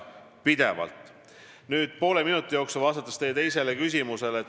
Nüüd vastan poole minuti jooksul teie teisele küsimusele.